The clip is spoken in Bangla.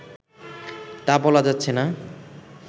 তা বলা যাচ্ছেনা